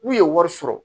N'u ye wari sɔrɔ